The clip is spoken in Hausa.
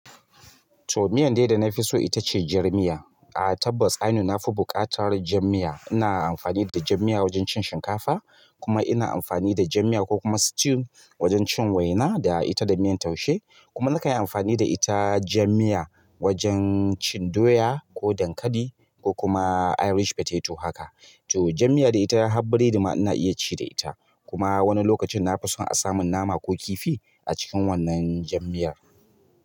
To miyan dai da na fi so ita ce jar miya. A tabbas ainun na fi buƙatar jar miya. Ina amfani da jam miya wajen cin shinkafa kuma ina amfani da jam miya ko kuma stew wajen cin waina da ita da miyan taushe. Kuma na kanyi amfani da ita jam miya wajen cin doya ko dankali ko kuma irish potato haka. To jam miya dai ita har biredi ma ina iya ci da ita. Kuma wani lokacin na fi son a samun nama ko kifi a cikin wannan jam miyar.